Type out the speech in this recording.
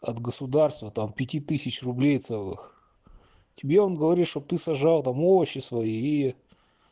от государства там пяти тысяч рублей целых тебе он говорит чтоб ты сожрал там овощи свои и